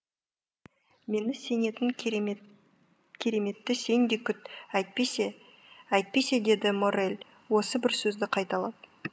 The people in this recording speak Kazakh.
мен сенетін кереметті сен де күт әйтпесе әйтпесе деді моррель осы бір сөзді қайталап